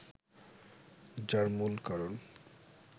যার মূল কারণ